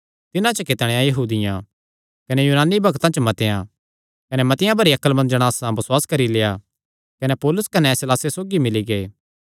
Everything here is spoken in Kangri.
तिन्हां च कितणेयां यहूदियां कने यूनानी भक्तां च मतेआं कने मतिआं भरी अक्लमंद जणासा बसुआस करी लेआ कने पौलुस कने सीलासे सौगी मिल्ली गै